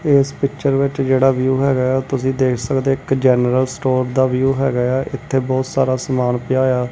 ਇਸ ਪਿੱਚਰ ਵਿੱਚ ਜਿਹੜਾ ਵਿਊ ਹੈਗਾ ਤੁਸੀਂ ਦੇਖ ਸਕਦੇ ਇੱਕ ਜਨਰਲ ਸਟੋਰ ਦਾ ਵਿਊ ਹੈਗਾ ਆ ਇੱਥੇ ਬਹੁਤ ਸਾਰਾ ਸਮਾਨ ਪਿਆ ਆ।